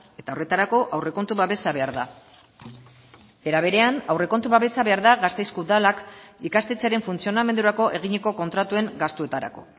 eta horretarako aurrekontu babesa behar da era berean aurrekontu babesa behar da gasteizko udalak ikastetxearen funtzionamendurako eginiko kontratuen gastuetarako